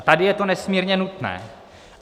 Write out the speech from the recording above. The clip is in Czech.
A tady je to nesmírně nutné.